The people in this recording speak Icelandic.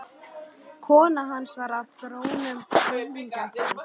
Kona hans var af grónum höfðingjaættum.